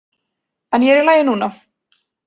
En ég er í lagi núna.